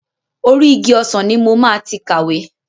Orí igi ọsàn ni mo máa ti kàwé.